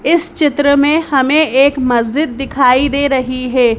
इस चित्र में हमें एक मस्जिद दिखाई दे रही है।